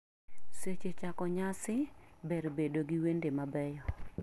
Seche chako nyasi, ber bedo gi wende mabeyo.